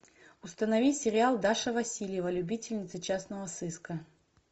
установи сериал даша васильева любительница частного сыска